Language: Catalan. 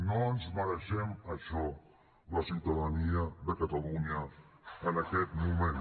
no ens mereixem això la ciutadania de catalunya en aquest moment